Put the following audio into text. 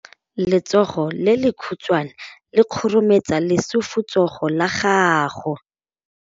Letsogo le lekhutshwane le khurumetsa lesufutsogo la gago.